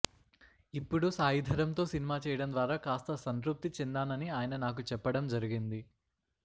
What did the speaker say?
ఇప్పుడు సాయిధరమ్తో సినిమా చేయడం ద్వారా కాస్త సంతృప్తి చెందానని ఆయన నాకు చెప్పడం జరిగింది